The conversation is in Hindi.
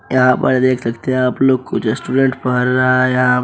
यहाँ पर देख सकते हैं आप लोग कुछ स्टूडेंट पढ़ रहा है यहाँ।